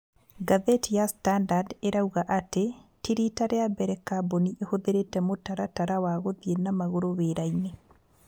Ngathĩti ya stanadard ĩrauga atĩ ti riita rĩa mbere kambuni ĩhũthĩrĩte mũtaratara wa gũthiĩ na magũrũ wĩra-inĩ